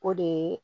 O de ye